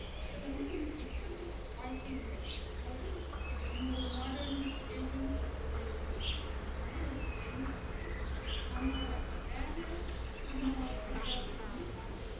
அத வந்து நாம இப்பத்த வாழ்க்கை முறை, அதாவது இன்னொரு modern age ன்னு சொல்றோம் இல்லையா அந்த மாதிரி ஒரு train ல வந்து நம்மளோட வேல, குடும்ப வாழ்க்கை எல்லாத்தையுமே பாத்துட்டு